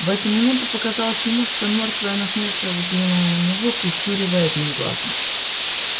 в эту минуту показалось ему что мёртвая насмешливо взглянула на него прищуривая одним глазом